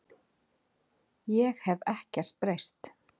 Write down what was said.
Ég hef ekkert breyst!